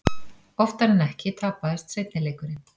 Oftar en ekki tapaðist seinni leikurinn.